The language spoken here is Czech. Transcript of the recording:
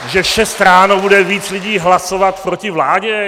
Že v šest ráno bude víc lidí hlasovat proti vládě?